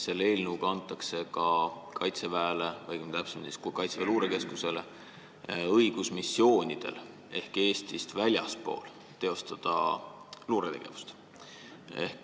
Selle eelnõuga antakse Kaitseväele, täpsemini Kaitseväe Luurekeskusele õigus missioonidel ehk Eestist väljaspool teostada luuretegevust.